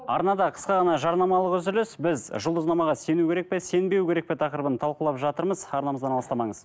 арнада қысқа ғана жарнамалық үзіліс біз жұлдызнамаға сену керек пе сенбеу керек пе тақырыбын талқылап жатырмыз арнамыздан алыстамаңыз